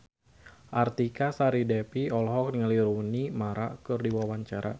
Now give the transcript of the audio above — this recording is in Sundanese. Artika Sari Devi olohok ningali Rooney Mara keur diwawancara